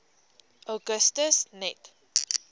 augustus net